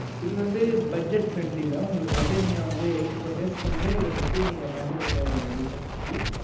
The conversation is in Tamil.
இது வந்து budget friendly mam உங்களுக்கு வந்து நீங்க வந்து eighty four days க்கு வந்து இதபத்தி நீங்க கண்டுக்க தேவையில்ல recharge பத்தி